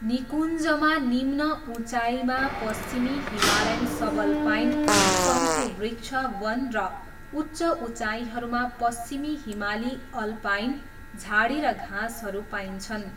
निकुञ्जमा निम्न उचाइमा पश्चिमी हिमालयन सबल्पाइन शङ्कुवृक्ष वन र उच्च उचाइहरूमा पश्चिमी हिमाली अल्पाइन झाडी र घाँसहरू पाइन्छन्।